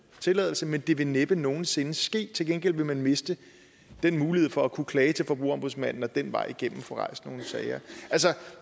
tilladelse men det vil næppe nogen sinde ske til gengæld vil man miste den mulighed for at kunne klage til forbrugerombudsmanden og den vej igennem få rejst nogle sager altså